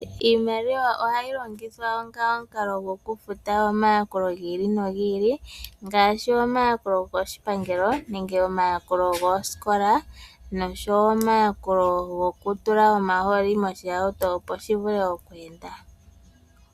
Iimaliwa ohayi longithwa onga omukalo gokufuta omayakulo gi ili nogi ili, ngaashi omayakulo go koshipangelo nenge omayakulo goosikola, noshowo omayakulo gokutula omahooli moshihauto opo shi vule oku enda.